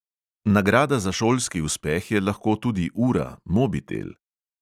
Nagrada za šolski uspeh je lahko tudi ura, mobitel.